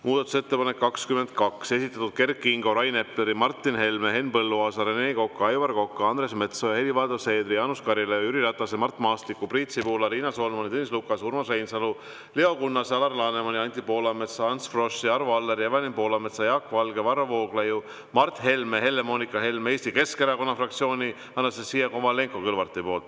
Muudatusettepanek nr 22, esitanud Kert Kingo, Rain Epler, Martin Helme, Henn Põlluaas, Rene Kokk, Aivar Kokk, Andres Metsoja, Helir-Valdor Seeder, Jaanus Karilaid, Jüri Ratas, Mart Maastik, Priit Sibul, Riina Solman, Tõnis Lukas, Urmas Reinsalu, Leo Kunnas, Alar Laneman, Anti Poolamets, Ants Frosch, Arvo Aller, Evelin Poolamets, Jaak Valge, Varro Vooglaid, Mart Helme, Helle-Moonika Helme, Eesti Keskerakonna fraktsioon ja Anastassia Kovalenko-Kõlvart.